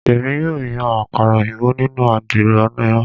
Emi yoo yan akara oyinbo ninu adiro ina